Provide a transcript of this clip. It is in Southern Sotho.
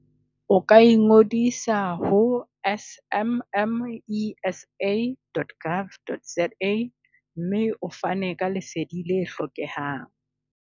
O ka ingodisa ho smmesa.gov.za. mme o fane ka Lesedi le hlokehang.